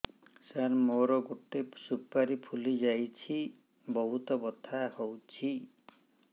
ସାର ମୋର ଗୋଟେ ସୁପାରୀ ଫୁଲିଯାଇଛି ବହୁତ ବଥା ହଉଛି